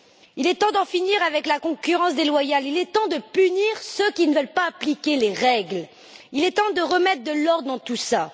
Il est temps d'en finir avec la concurrence déloyale, il est temps de punir ceux qui ne veulent pas appliquer les règles, il est temps de remettre de l'ordre dans tout ça.